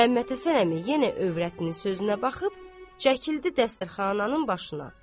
Məmmədhəsən əmi yenə övrətinin sözünə baxıb, çəkildi dəstərxananın başına.